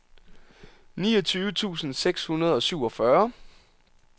niogtyve tusind seks hundrede og syvogfyrre